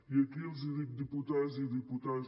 i aquí els dic diputades i diputats